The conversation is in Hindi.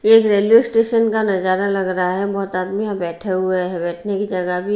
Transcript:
ये एक रेल्वे स्टेशन का नजारा लग रहा है बहुत आदमी यहाँ बैठे हुए है बैठने की जगह भी--